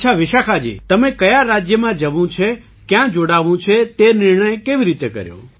અચ્છા વિશાખાજી તમેં કયા રાજ્યમાં જવું છે ક્યાં જોડાવું છે તે નિર્ણય કેવી રીતે કર્યો